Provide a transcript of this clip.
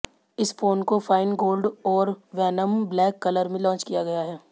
इस फोन को fine gold और वैनम ब्लैक कलर में लॉन्च किया गया है